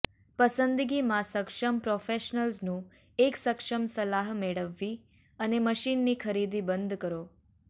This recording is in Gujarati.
પસંદગીમાં સક્ષમ પ્રોફેશનલ્સનું એક સક્ષમ સલાહ મેળવવી અને મશીનની ખરીદી બંધ કરો